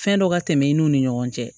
Fɛn dɔ ka tɛmɛ i n'u ni ɲɔgɔn cɛ